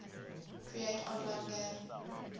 create online game